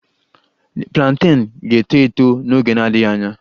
The plantain ga-eto eto n'oge na-adịghị anya